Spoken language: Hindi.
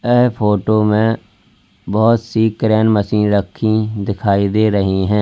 यह फोटो में बहोत सी क्रेन मशीन रखी दिखाई दे रही हैं।